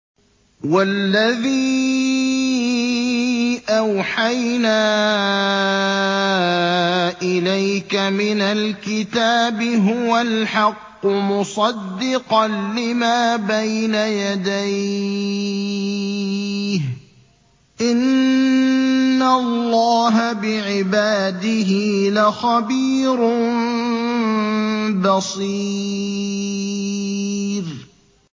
وَالَّذِي أَوْحَيْنَا إِلَيْكَ مِنَ الْكِتَابِ هُوَ الْحَقُّ مُصَدِّقًا لِّمَا بَيْنَ يَدَيْهِ ۗ إِنَّ اللَّهَ بِعِبَادِهِ لَخَبِيرٌ بَصِيرٌ